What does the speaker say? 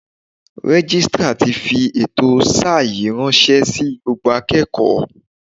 Registrar ti fi ètò sáà yìí ránṣẹ́ sí gbogbo akẹ́kọ̀ọ́.